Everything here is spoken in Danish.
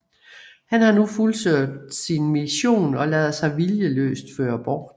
Han har nu fuldført sin mission og lader sig viljeløst føre bort